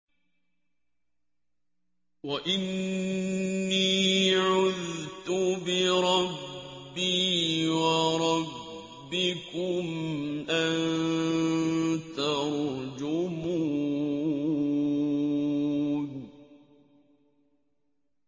وَإِنِّي عُذْتُ بِرَبِّي وَرَبِّكُمْ أَن تَرْجُمُونِ